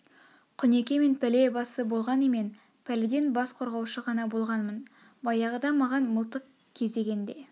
құнеке мен пәле басы болған емен пәледен бас қорғаушы ғана болғанмын баяғыда маған мылтық кезеген де